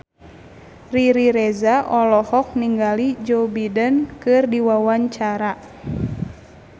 Riri Reza olohok ningali Joe Biden keur diwawancara